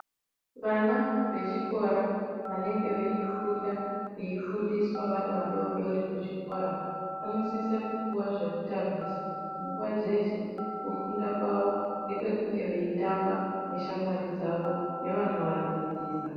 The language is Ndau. Vana vechikora vanenge weifunda weifundiswa wari wadodori kuchikora vanosise kupuwa zvekutambisa munguva dzese kufunda kwawo kwekunge weitamba neshamwari dzawo nevanowadzidzisa.